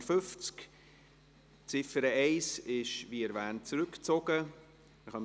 Die Ziffer 1 ist, wie bereits erwähnt, zurückgezogen worden.